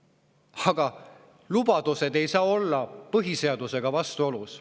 Aga lubadused ei saa olla põhiseadusega vastuolus.